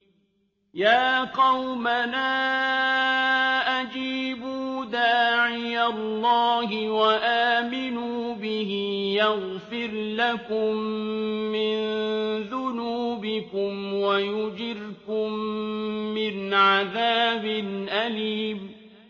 يَا قَوْمَنَا أَجِيبُوا دَاعِيَ اللَّهِ وَآمِنُوا بِهِ يَغْفِرْ لَكُم مِّن ذُنُوبِكُمْ وَيُجِرْكُم مِّنْ عَذَابٍ أَلِيمٍ